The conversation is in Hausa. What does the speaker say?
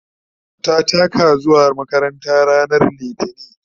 ta taka zuwa makaranta ranar litini